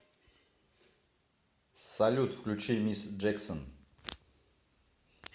салют включи мисс джексон